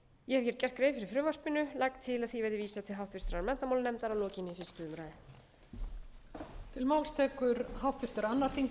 ég hef gert grein fyrir frumvarpinu og legg til að því verði vísað til háttvirtrar menntamálanefndar að lokinni fyrstu umræðu